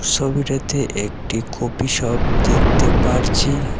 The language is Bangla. ছবিটাতে একটি কফি শপ দেখতে পারছি।